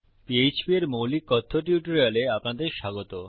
PHP এর মৌলিক কথ্য টিউটোরিয়ালে আপনাদের স্বাগত